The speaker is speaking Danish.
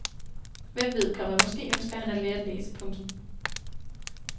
Hvem ved, komma måske ønsker han at lære at læse. punktum